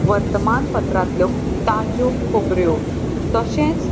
वर्तमान पत्रांतलों ताज्यो खोबर्यो तशेच --